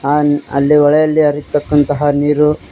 ಅನ್ ಅಲ್ಲಿ ಹೊಳೆಯಲ್ಲಿ ಹರಿತಕಂತಹ ನೀರು--